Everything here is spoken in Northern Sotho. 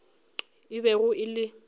e bego e le ka